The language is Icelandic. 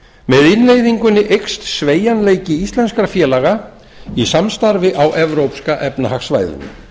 með innleiðingunni eykst sveigjanleiki íslenskra félaga í samstarfi á evrópska efnahagssvæðinu